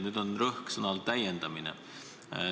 Rõhk on sõnal "täiendada".